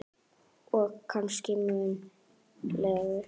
Og kannski mun lengur.